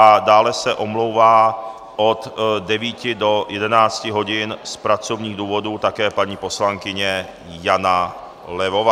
A dále se omlouvá od 9 do 11 hodin z pracovních důvodů také paní poslankyně Jana Levová.